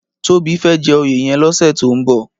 Tobi fè jè óyé yèn lòsè tó n bò